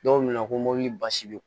Dɔw bɛ na ko mobili basi